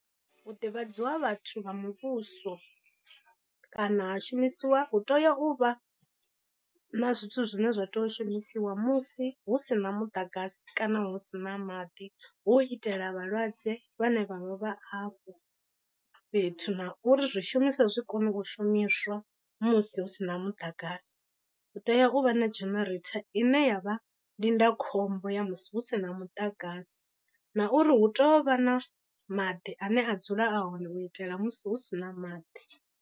Hu ḓivhadziwa vhathu vha muvhuso, kana ha shumisiwa hu tea u vha na zwithu zwine zwa tea u shumisiwa musi hu si na muḓagasi kana hu si na maḓi. Hu u itela vhalwadze vhane vha vha vha afho fhethu na uri zwishumiswa zwi kone u shumiswa musi hu sina muḓagasi, u tea u vha na genereitha ine yavha ndindakhombo ya musi hu si na muḓagasi. Na uri hu tea u vha na maḓi ane a dzule a hone u itela musi hu si na maḓi.